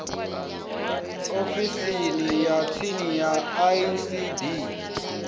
ofisini ya tsini ya icd